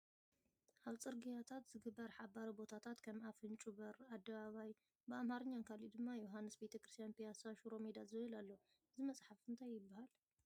ኣብ ፅርግያታት ዝግበር ሓባሪ ቦታታት ከም ኣፍንጩ በር ኣደባባይ ብኣማርኛን ካልእ ድማ ዮሃንስ ቤተክርስትያን ፣ ፒያሳ ፣ ሽሮ ሜዳ ዝብል ኣሎ እዚ መፅሓፊ እንታይ ይበሃል ?